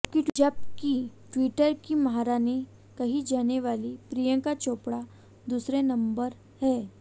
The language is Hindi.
जबकि टि्वटर की महारानी कही जाने वाली प्रियंका चोपड़ा दूसरे नंबर हैं